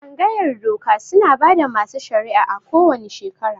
Tsangayar doka suna bada masu shari'a a ko wane shekera